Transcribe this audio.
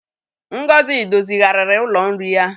Ngozi dozigharịrị ụlọ nri ya.